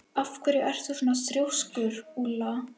Af hverju ertu svona þrjóskur, Úlla?